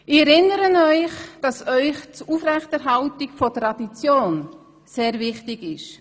Ich erinnere Sie daran, dass Ihnen das Aufrechterhalten von Traditionen sehr wichtig ist.